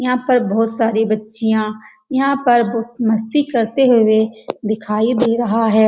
यहाँ पर बहोत सारी बच्चियाँ यहाँ पर ब मस्ती करते हुए दिखाई दे रहा है।